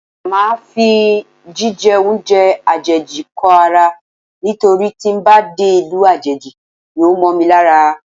Máa fi jí jẹ oúnjẹ àjèjì kó ara nítorí tí ń bá dé ìlú àjèjì yóò mọ́ mi lára.